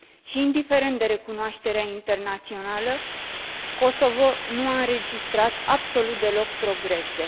Și, indiferent de recunoașterea internațională, Kosovo nu a înregistrat absolut deloc progrese.